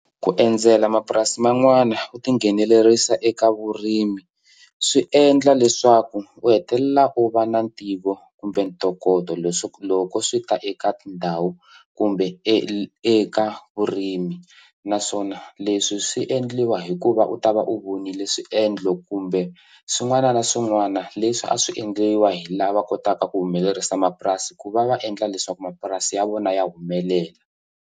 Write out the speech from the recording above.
Ku endzela mapurasi man'wana u tinghenelerisa eka vurimi swi endla leswaku u hetelela u va na ntivo kumbe ntokoto leswo loko swi ta eka tindhawu kumbe eka vurimi naswona leswi swi endliwa hikuva u ta va u vonile swiendlo kumbe swin'wana na swin'wana leswi a swi endliwa hi lava kotaka ku humelerisa mapurasi ku va va endla leswaku mapurasi ya vona ya humelela.